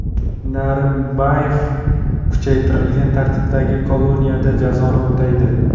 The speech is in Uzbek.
Narimbayev kuchaytirilgan tartibdagi koloniyada jazoni o‘taydi.